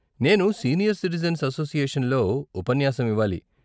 నేను senior citizens association లో ఉపన్యాసం ఇవ్వాలి.